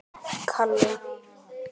Amma fór að raula.